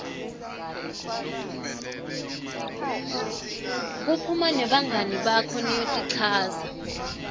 kuphuma nebangani bakho niyotichaza